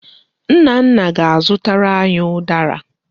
Nna nna m ga-azụtara anyị ụdara.